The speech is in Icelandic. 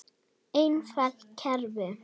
Einfalt kerfi.